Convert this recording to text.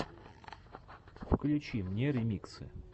включи мне ремиксы